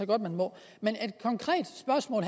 godt må men